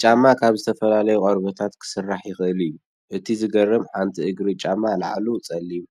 ጫማ ካብ ዝተፈላለዩ ቆርበታት ክስራሕ ይክእል እዩ፡፡ እቲ ዝገርም! ሓንቲ እግሪ ጫማ ላዕሉ ፀሊም